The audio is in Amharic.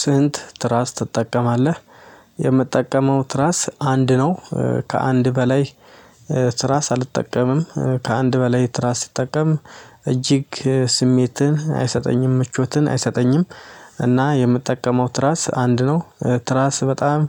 ስንት ትራስ ትጠቀማለህ? የምጠቀመው ትራስ አንድ ነው ከአንድ በላይ ትራስ አልጠቀምም ከአንድ በላይ ትራስ ሲጠቀም እጅግ ስሜትን አይሰጠኝም ምቾትን አይሰጠኝም። እና የምጠቀመው ትራስ አንድ ነው። ትራስ በጣም